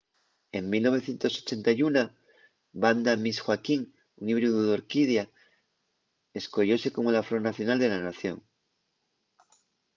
en 1981 vanda miss joaquim un híbridu d’orquídea escoyóse como la flor nacional de la nación